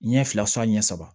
Ɲɛ fila ɲɛ saba